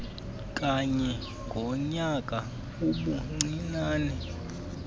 kanye ngonyaka ubuncinane